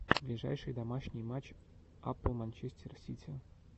ближайший домашний матч апл манчестер сити